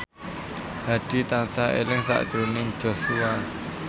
Hadi tansah eling sakjroning Joshua